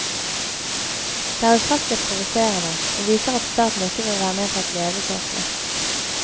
Det er ufattelig provoserende, og viser at staten ikke vil være med på et levekårsløft.